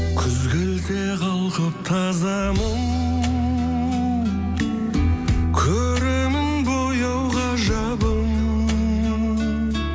күз келсе қалқып таза мұң көремін бояу ғажабын